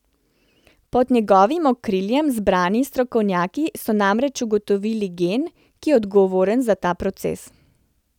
Pod njegovim okriljem zbrani strokovnjaki so namreč ugotovili gen, ki je odgovoren za ta proces.